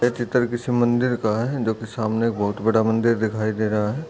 यह चित्र किसी मंदिर का है जोकि सामने बहुत बड़ा मंदिर दिखाई दे रहा है।